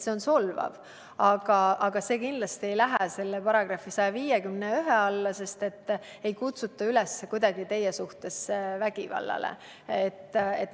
See on solvav, aga kindlasti ei lähe see § 151 alla, sest öelduga ei kutsuta kuidagi teie suhtes üles vägivallale.